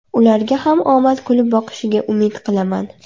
Ularga ham omad kulib boqishiga umid qilaman”.